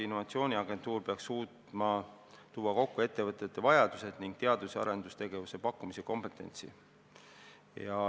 Innovatsiooniagentuur peaks suutma tuua kokku ettevõtete vajadused ning teadus- ja arendustegevuse pakkumise ja kompetentsi.